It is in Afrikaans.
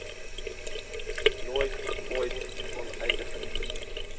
nooit ooit onteiening